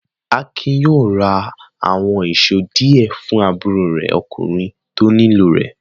Akin yóò ra àwọn ìṣó díẹ̀ fún àbúrò rẹ̀ ọkùnrin tó nílò rẹ̀.